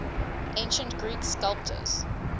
ancient greek sculptors